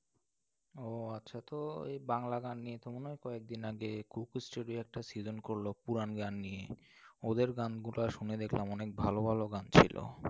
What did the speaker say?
ও আচ্ছা তো এই বাংলা গান নিয়ে তো মনে হয় কয়েকদিন আগে Coco studio একটা season করলো পুরান গান নিয়ে। ওদের গানগুলা শুনে দেখলাম, অনেক ভালো ভালো গান ছিল।